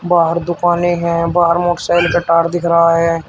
बाहर दुकानें हैं बाहर मोटरसाइकिल का टायर दिख रहा है।